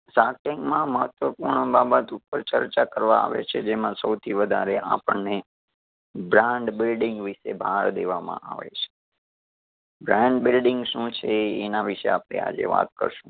shark tank માં મહત્વપૂર્ણ બાબત ઉપર ચર્ચા કરવા આવે છે, જેમાં સૌથી વધારે આપણને brand building વિશે ભાર દેવામાં આવે છે. brand building શું છે? એ એના વિશે આપડે આજે વાત કરશું.